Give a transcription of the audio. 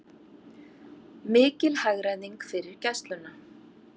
Mikil hagræðing fyrir Gæsluna